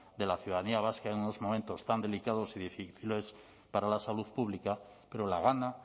de la ciudadanía vasca en unos momentos tan delicados y difíciles para la salud pública pero la gana